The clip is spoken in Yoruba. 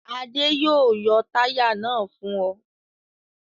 Adé yóò yọ táyà náà fún ọ.